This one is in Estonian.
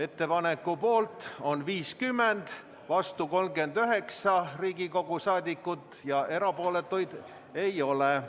Ettepaneku poolt on 50 Riigikogu liiget, vastu 39 ja erapooletuid ei ole.